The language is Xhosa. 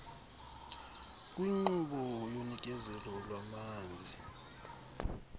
kwinkqubo yonikezelo lwamanzi